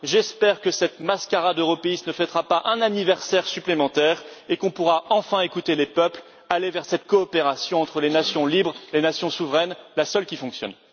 J'espère que cette mascarade européiste ne fêtera pas un anniversaire supplémentaire et qu'on pourra enfin écouter les peuples, aller vers cette coopération entre les nations libres, les nations souveraines, la seule qui fonctionne.